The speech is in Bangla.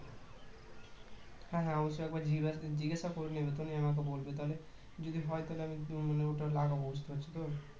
হ্যাঁ হ্যাঁ ওটা একবার জি~ জিজ্ঞাসা করে নিয়ে তুমি আমাকে বলবে তাহলে যদি হয় তাহলে উম মানে ওটা লাগাবো বুঝতে পারছো তো